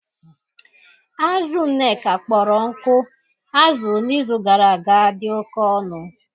Azụ Nneka kpọrọ nkụ azụrụ n’izu gara aga dị oke ọnụ